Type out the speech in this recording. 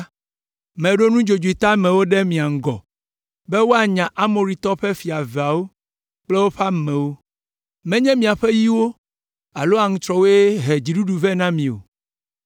Meɖo nudzodzoe teamewo ɖe mia ŋgɔ be woanya Amoritɔwo ƒe fia eveawo kple woƒe amewo. Menye miaƒe yiwo alo aŋutrɔwoe he dziɖuɖu vɛ na mi o!